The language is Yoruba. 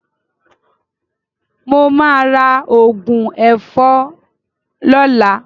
Mo máa ra òògùn ẹ̀fọn lọ́la.